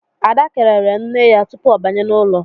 Ada kelere nne ya tupu ọ banye n'ụlọ